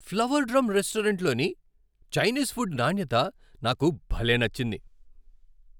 Flower Drum రెస్టారెంట్లోని Chinese food నాణ్యత నాకు భలే నచ్చింది.